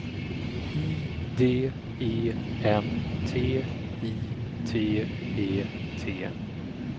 I D E N T I T E T